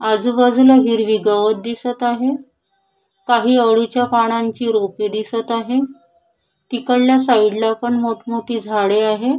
आजूबाजूला हिरवी गवत दिसत आहे काही आवळीच्या पानांची रोपे दिसत आहे तिकडल्या साईडला पण मोठ मोठी झाडे आहे.